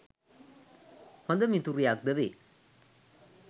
හොඳ මිතුරියක් ද වේ.